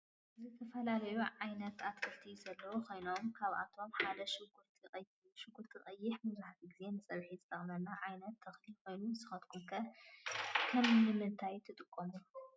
ዝተፈላለዩ ዓይነታት አትክልቲ ዘለው ኮይኖም ካአቶም ሓደ ሽጉርቲ ቀይሕ እዩ። ሽጉርቲ ቀይሕ መብዛሕቲኡ ግዜ ንፀብሒ ዝጠቅመና ዓይነት ተክሊ ኮይኑ ንስካትኩም ከ ንምንታይ ትጥቀምሉ?